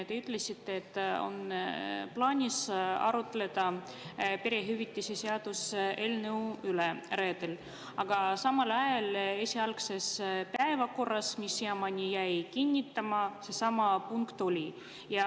Te ütlesite, et on plaanis arutleda perehüvitiste seaduse eelnõu üle reedel, aga samal ajal esialgses päevakorras, mis siiamaani on jäänud kinnitamata, seesama punkt oli.